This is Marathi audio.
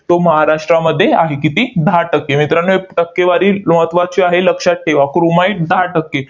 तो महाराष्ट्रामध्ये आहे. किती? दहा टक्के. मित्रांनो, ही टक्केवारी महत्त्वाची आहे. लक्षात ठेवा. chromite दहा टक्के.